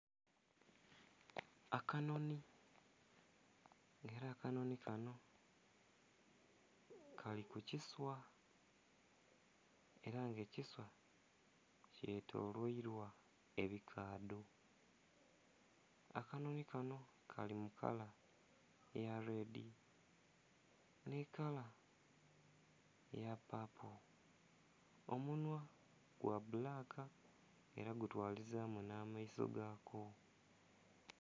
Akanonhi ela akanonhi kanho kali ku kiswa ela nga ekiswa kyetoloilwa ebikaadho. Akanonhi kanho kali mu kala eya lwedi nhe kala eya papo, omunhwa gwa bbulaka ela gutwalizaamu nh'amaiso gako.